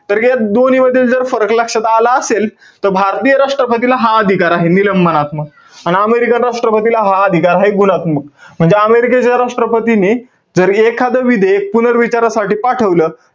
तर या दोन्हींमधील जर फरक लक्षात आला असेल, त भारतीय राष्ट्रपतीला हा अधिकार आहे. निलंबनात्मक. आणि american राष्ट्रपतीला हा अधिकार आहे, गुणात्मक. म्हणजे अमेरिकेच्या राष्ट्रपतीने जर एखाद विधेयक, पुनर्विचारासाठी पाठवलं,